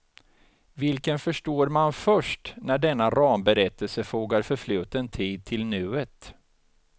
Vilken förstår man först när denna ramberättelse fogar förfluten tid till nuet.